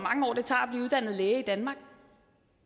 er læge i danmark